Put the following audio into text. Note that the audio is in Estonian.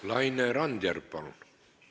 Laine Randjärv, palun!